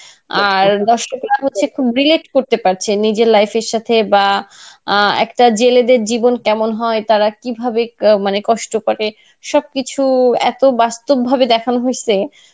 আর দর্শকরা হচ্ছে খুব করতে পারছে নিজের life-এর সাথে বা আহ একটা জেলেদের জীবন কেমন হয় তারা কিভাবে মানে কষ্ঠ করে সবকিছু এত্ বাস্তব ভাবে দেখানো হয়েসে